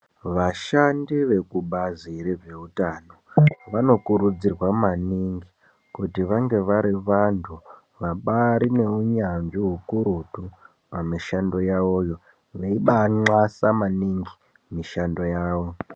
Vashandi vekubazi rezveutano vanokurudzirwa maningi kuti vange vari vanthu vabaari neunyanzvi hukurutu pamishando yavoyo veibaanxasa maningi mishando yavo.